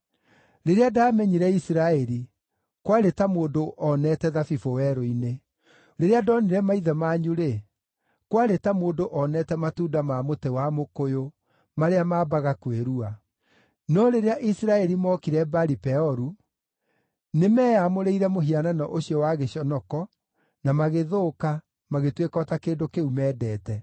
“Rĩrĩa ndaamenyire Isiraeli, kwarĩ ta mũndũ onete thabibũ werũ-inĩ; rĩrĩa ndonire maithe manyu-rĩ, kwarĩ ta mũndũ onete matunda ma mũtĩ wa mũkũyũ marĩa maambaga kwĩrua. No rĩrĩa Isiraeli mookire Baali-Peoru, nĩmeyamũrĩire mũhianano ũcio wa gĩconoko, na magĩthũka, magĩtuĩka o ta kĩndũ kĩu mendete.